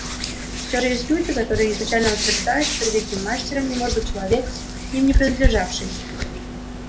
и все же есть люди которые изначально утверждают что великим мастером не может быть человек к ним не принадлежавший